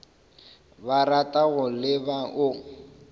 ba ratago le ba o